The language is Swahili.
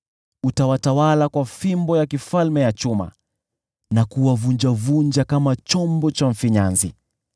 Utawatawala kwa fimbo ya chuma na kuwavunjavunja kama chombo cha mfinyanzi.”